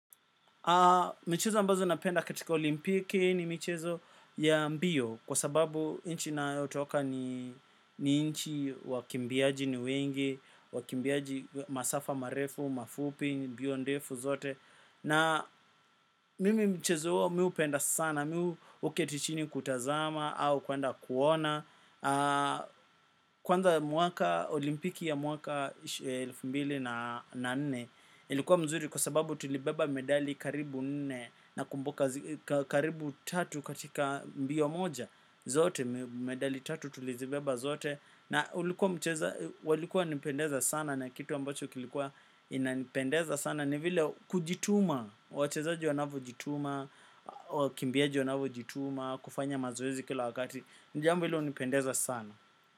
Michezo ambazo napenda katika olimpiki ni michezo ya mbio kwa sababu nchi nayo toka ni ni nchi wakimbiaji ni wengi, wakimbiaji masafa marefu, mafupi, bio ndefu zote. Na mimi mchezo huo mi hupenda sana, mi huketichini kutazama au kwenda kuona. Kwanza mwaka olimpiki ya mwaka elfu mbili na nne ilikuwa mzuri kwa sababu tulibeba medali karibu nne. Na kumbuka karibu tatu katika mbio moja zote, medali tatu tulizibeba zote na walikuwa wanipendeza sana na kitu ambacho kilikuwa inanipendeza sana ni vile kujituma, wachezaji wanavu jituma, wakimbiaji wanavo jituma, kufanya mazoezi kila wakati ni jambo hilo hunipendeza sana.